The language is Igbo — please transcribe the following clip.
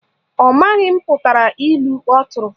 Ọ maghị mputara ilu ọ tụrụ